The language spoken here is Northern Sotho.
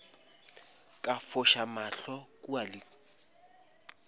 ka foša mahlo kua le